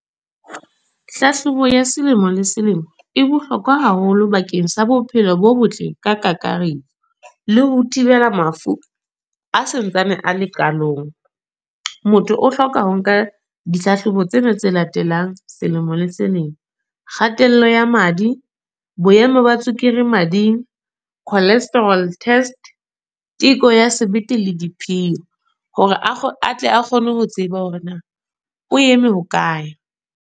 Hlahlobo ya selemo le selemo. E bohlokwa haholo bakeng sa bophelo bo botle, ka kakaretso. Le ho thibela mafu a sa ntsane a le qalong. Motho o hloka ho nka ditlhahlobo tsena tse latelang selemo le selemo. Kgatello ya madi, boemo ba tswekere mading, cholesterol test, teko ya sebete le diphio. Hore atle a kgone ho tseba hore na o eme hokae.